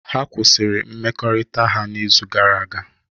Ha kwụsịrị mmekọrịta ha n'izu gara aga.